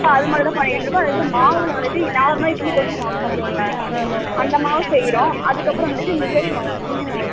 அதமாறிதா பண்ணிட்டு இருக்கோ அதுக்கு அப்பறம் மாவுல vareity normal இட்லி தோஷ மாவு பாத்திங்களா அத மாவு செய்றோ அதுக்கு அப்பறம் வந்துட்டு millet மாவு தினை மாவு